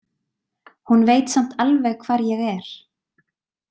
Hún veit samt alveg hvar ég er.